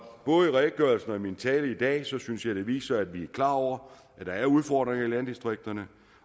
både redegørelsen og min tale i dag synes jeg viser at vi er klar over at der er udfordringer i landdistrikterne